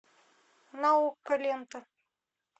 наука лента